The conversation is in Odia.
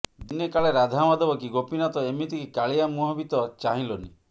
ଦିନେ କାଳେ ରାଧାମାଧବ କି ଗୋପୀନାଥ ଏମିତି କି କାଳିଆ ମୁହଁ ବି ତ ଚାହିଁଲନି